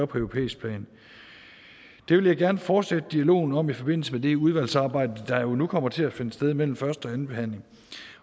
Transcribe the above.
på europæisk plan det vil jeg gerne fortsætte dialogen om i forbindelse med det udvalgsarbejde der jo nu kommer til at finde sted mellem første og anden behandling